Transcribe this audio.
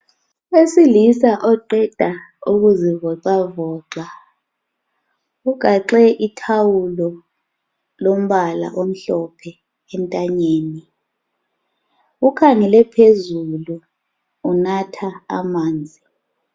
Owesilisa oqeda ukuzivoxavoxa. Ugaxe ithawulo, elombala omhlophe entanyeni. Ukhangele phezulu. Unatha amanzi.